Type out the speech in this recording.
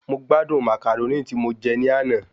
Mo gbádùn Màcàrónì tí mo je ni àná